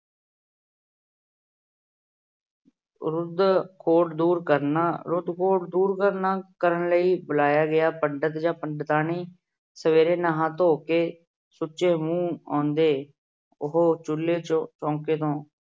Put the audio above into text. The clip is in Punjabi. ਦੂਰ ਕਰਨਾ- ਮੂੰਹ ਖੁਰ ਦੂਰ ਕਰਨ ਲਈ ਬੁਲਾਇਆ ਗਿਆ ਪੰਡਤ ਜਾਂ ਪੰਡਤਾਣੀ ਸਵੇਰੇ ਨਹਾ ਧੋ ਕੇ ਸੁੱਚੇ ਮੂੰਹ ਆਉਂਦੇ। ਉਹ ਚੁੱਲੇ